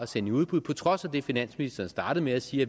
sende i udbud på trods af det finansministeren startede med at sige